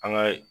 An ka